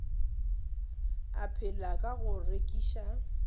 a phela ka go rekiša